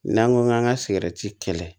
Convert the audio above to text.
N'an ko k'an ka kɛlɛ